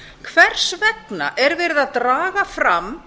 hvers vegna er verið að draga fram